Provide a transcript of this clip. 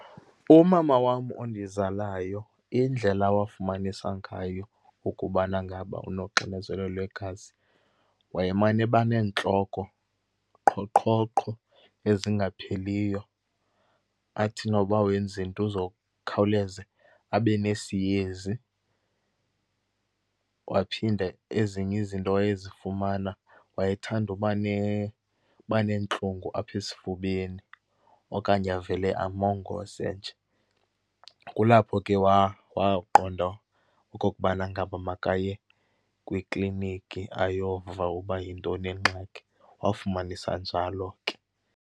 Umama wam ondizalayo, indlela awafumanisa ngayo ukubana ngaba unoxinzelelo lwegazi, wayemane eba neentloko, qhoqhoqho, ezingapheliyo. Athi noba wenza into uzokhawuleza abe nesiyezi. Waphinda, ezinye izinto awayezifumana, wayethanda uba uba neentlungu apha esifubeni okanye avele amongoze nje. Kulapho ke waqonda okokubana ngaba makaye kwikliniki ayova uba yintoni ingxaki. Wafumanisa njalo ke.